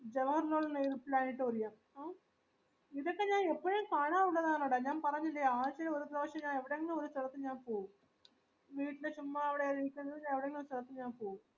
പാഴാവന്നതാണെടാ ഞാൻ പറഞ്ഞില്ലേ ആഴ്ചയിൽ ഒരു പ്രാവശ്യം ഞാൻ എവിടെങ്കിലും ഒരു സ്ഥലത്ത് ഞാൻ പോകും വീട്ടിൽ ചുമ്മാ എവിഡെങ്കു ഇരികാണ്ട് എവിടെങ്കിലും ഒരു സ്ഥലത് ഞാൻ പോകും